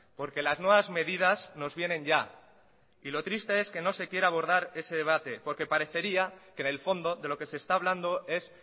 porque las nuevas medidas nos vienen ya y lo triste es que no se quiera abordar ese debate porque parecería que en el fondo de lo que se está hablando es